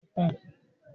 Bẹẹni ó pé